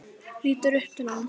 Lítur upp til hans.